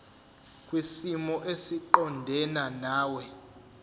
kwisimo esiqondena nawe